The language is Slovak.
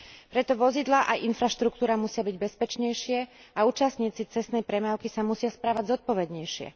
Preto vozidlá aj infraštruktúra musia byť bezpečnejšie a účastníci cestnej premávky sa musia správať zodpovednejšie.